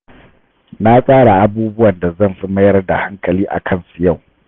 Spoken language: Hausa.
Na tsara abubuwan da zan fi mayar da hankali a kansu yau.